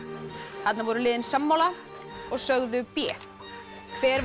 þarna voru liðin sammála og sögðu b hver var